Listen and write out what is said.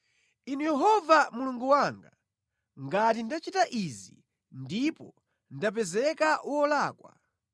Inu Yehova Mulungu wanga, ngati ndachita izi ndipo ndapezeka wolakwa,